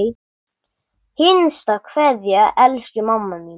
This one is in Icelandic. HINSTA KVEÐJA Elsku mamma mín.